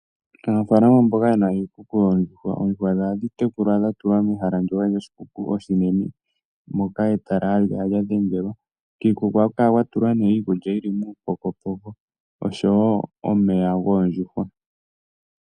Aanafalama mboka ye na iikuku yoondjuhwa, oondjuhwa dhawo ohadhi tekulwa dha tulwa mehala ndyoka lyoshikuku oshinene. Moka etala hali kala lya dhengelwa. Kiikuku ohaku kala kwa tulwa nee iikulya yi li muupokopoko osho wo omeya goondjuhwa.